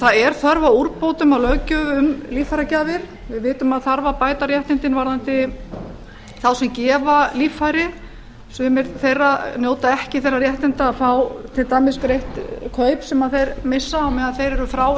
það er þörf á úrbótum og löggjöf um líffæragjafir við vitum að það þarf að bæta réttindin varðandi þá sem gefa líffæri sumir þeirra njóta ekki þeirra réttinda fá til dæmis greitt kaup sem þeir missa á meðan þeir eru frá